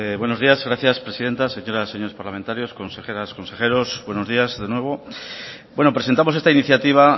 buenos días gracias presidenta señoras y señores parlamentarios consejeras consejeros buenos días de nuevo bueno presentamos esta iniciativa